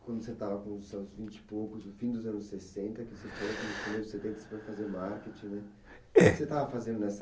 Quando você estava com os seus vinte e poucos, no fim dos anos sessenta,